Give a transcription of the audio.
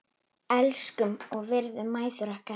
Elskum og virðum mæður okkar.